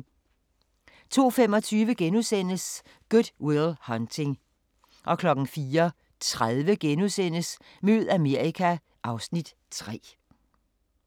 02:25: Good Will Hunting * 04:30: Mød Amerika (Afs. 3)*